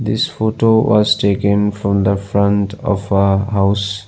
This photo was taken from the front of a house.